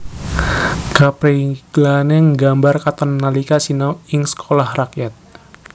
Kaprigelané nggambar katon nalika sinau ing Sekolah Rakyat